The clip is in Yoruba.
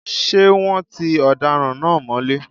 Ṣé wọ́́n ti ọ̀daràn náà mọ́lé?